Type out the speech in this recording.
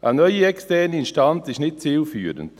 Eine neue externe Instanz ist nicht zielführend;